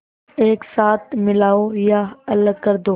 एक साथ मिलाओ या अलग कर दो